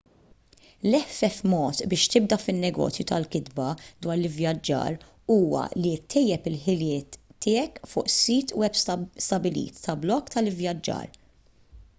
l-eħfef mod biex tibda fin-negozju tal-kitba dwar l-ivvjaġġar huwa li ttejjeb il-ħiliet tiegħek fuq sit web stabbilit ta' blog tal-ivvjaġġar